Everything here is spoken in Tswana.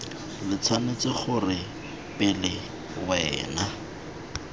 lo tshwanetse gore pele wena